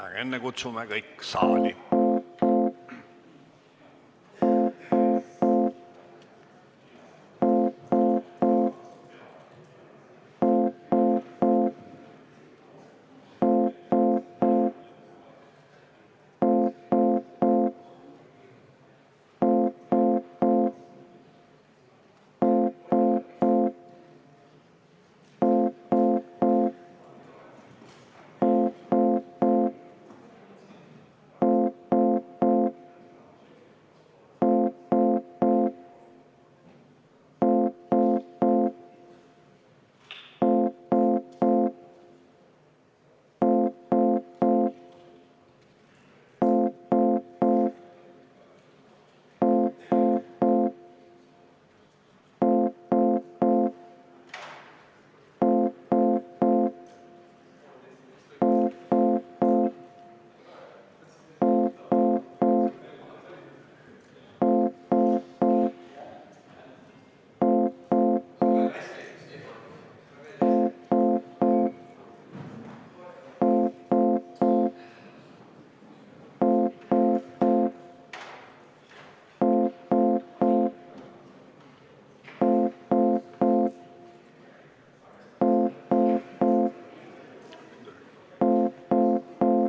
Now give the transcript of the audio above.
Aga enne kutsume kõik saali.